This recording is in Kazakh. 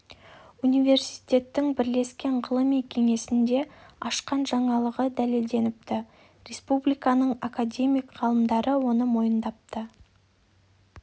университеттің бірлескен ғылыми кеңесінде ашқан жаңалығы дәлелденіпті республиканың академик ғалымдары оны мойындапты